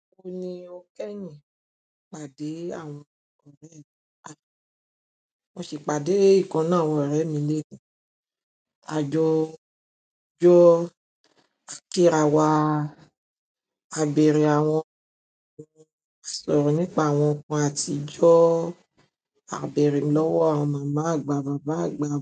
Ó ní o kẹ́yin ìpàdé àwọn ọ̀rẹ́ ẹ́. Mo sì pàdé ìkàn nínú àwọn ọ̀rẹ́ mi léni. Àjọ jọ́. A kí ara wa, a bẹ̀rẹ̀ àwọn ǹkan, a sọ̀rọ̀ nípa àwọn ǹkan àtijọ́, a bèrè lọ́wọ́ àwọn màmá àgbà, bàbá àgbà.